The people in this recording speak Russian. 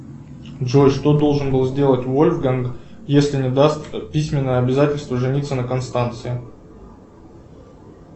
джой что должен был сделать вольфганг если не даст письменное обязательство жениться на констанции